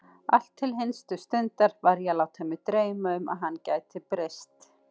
Allt til hinstu stundar var ég að láta mig dreyma um að hann gæti breyst.